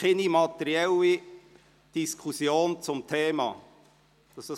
Es findet keine materielle Diskussion zum Thema statt.